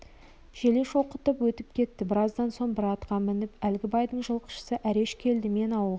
желе шоқытып өтіп кетті біраздан соң бір атқа мініп әлгі байдың жылқышысы әреш келді мен ауылға